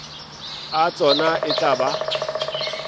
a tsona e tla ba